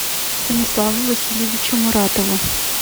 станиславу васильевичу муратову